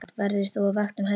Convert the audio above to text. Verður þú á vakt um helgina?